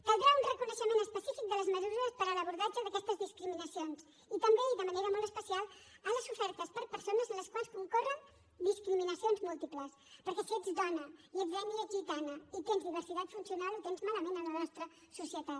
caldrà un reconeixement específic de les mesures per a l’abordatge d’aquestes discriminacions i també i de manera molt especial a les sofertes per persones en les quals concorren discriminacions múltiples perquè si ets dona i ets d’ètnia gitana i tens diversitat funcional ho tens malament en la nostra societat